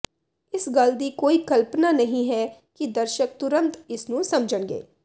ਇਸ ਗੱਲ ਦੀ ਕੋਈ ਕਲਪਨਾ ਨਹੀਂ ਹੈ ਕਿ ਦਰਸ਼ਕ ਤੁਰੰਤ ਇਸ ਨੂੰ ਸਮਝਣਗੇ